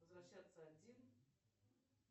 возвращаться один